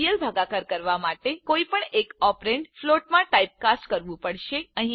real ભાગાકાર કરવા માટે કોઈ એક ઓપરેન્ડ ફ્લોટમાં ટાઇપ કાસ્ટ કરવું પડશે